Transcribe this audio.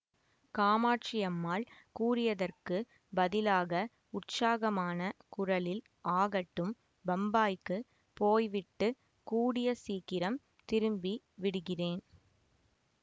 காமாட்சி அம்மாள் கூறியதற்குப் பதிலாக உற்சாகமான குரலில் ஆகட்டும் பம்பாய்க்குப் போய்விட்டுக் கூடிய சீக்கிரம் திரும்பி விடுகிறேன்